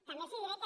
també els diré que